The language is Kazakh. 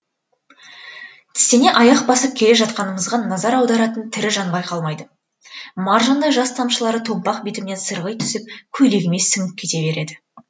тістене аяқ басып келе жатқанымызғым назар аударатын тірі жан байқалмайды маржандай жас тамшылары томпақ бетімнен сырғи түсіп көйлегіме сіңіп кете береді